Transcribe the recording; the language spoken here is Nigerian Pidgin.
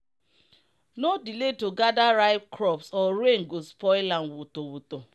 no delay to gather ripe crops or rain go spoil am woto woto.